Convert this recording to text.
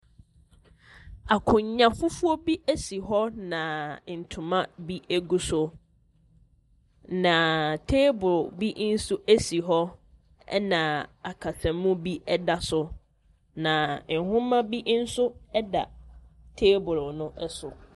Akonnwa fufuo bi si hɔ, na ntoma bi gu so, na table bi nso si hɔ, ɛnna akasamu bi da so, na nwoma bi nso da table no so.